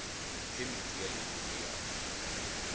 phemiti ya leruri ya aforika